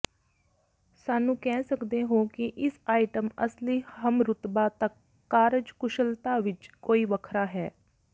ਸਾਨੂੰ ਕਹਿ ਸਕਦੇ ਹੋ ਕਿ ਇਸ ਆਈਟਮ ਅਸਲੀ ਹਮਰੁਤਬਾ ਤੱਕ ਕਾਰਜਕੁਸ਼ਲਤਾ ਵਿੱਚ ਕੋਈ ਵੱਖਰਾ ਹੈ